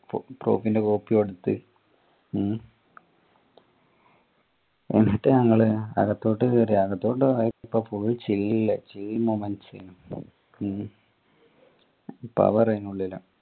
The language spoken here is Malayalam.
proof ൻറെ copy കൊടുത്ത് ഉം എന്നിട്ട് ഞങ്ങൾ അകത്തോട്ട് കയറി അകത്തോട്ട് കയറിയപ്പോ full chill chill moments എനു power എനു ഉള്ളില്